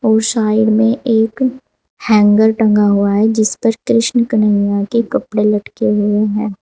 और साइड में एक हैंगर टंगा हुआ है जिस पर कृष्ण कन्हैया के कपड़े लटके हुए हैं।